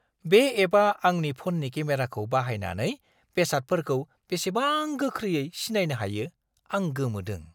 बे एपआ आंनि फननि केमेराखौ बाहायनानै बेसादफोरखौ बेसेबां गोख्रैयै सिनायनो हायो, आं गोमोदों।